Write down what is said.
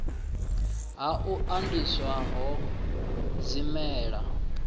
ha u andiswa ho zwimela